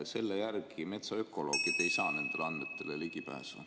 Selle järgi metsaökoloogid ei saa nendele andmetele ligipääsu.